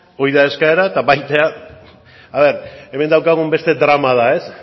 hori da eskaera eta baita hemen daukagun beste drama da ez